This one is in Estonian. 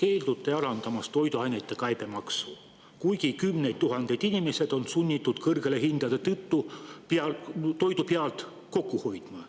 Te keeldute alandamast toiduainete käibemaksu, kuigi kümned tuhanded inimesed on sunnitud kõrgete hindade tõttu toidu pealt kokku hoidma.